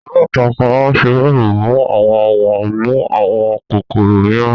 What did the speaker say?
aláǹtakùn máa ń fi wẹẹbu mu àwọ̀n wọn mú àwọn kòkòrò mìíràn